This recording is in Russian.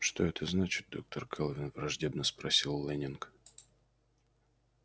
что это значит доктор кэлвин враждебно спросил лэннинг